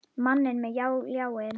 Manninn með ljáinn.